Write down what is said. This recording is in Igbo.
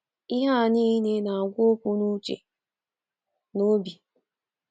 Ihe a nile na -agwa okwu n uche na obi.